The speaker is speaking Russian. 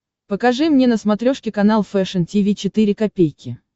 покажи мне на смотрешке канал фэшн ти ви четыре ка